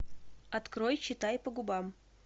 открой читай по губам